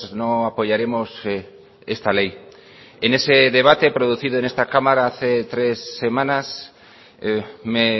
no apoyaremos esta ley en ese debate producido en esta cámara hace tres semanas me